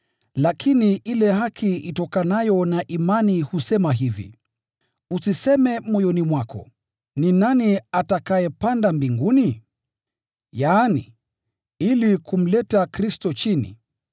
Lakini ile haki itokanayo na imani husema hivi: “Usiseme moyoni mwako, ‘Ni nani atakayepanda mbinguni?’ ” (yaani ili kumleta Kristo chini)